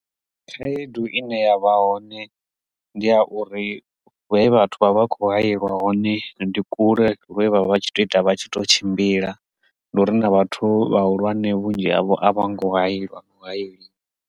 Khaedu ine yavha hone ndi a uri hune vhathu vha vha kho hayeliwa hone ndi kule lune vha vha vha tshi to ita vha tshi to tshimbila ndi uri nda vhathu vhahulwane vhunzhi havho a vha ngo hayeliwa .